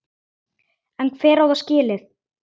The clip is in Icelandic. En hver á það skilið?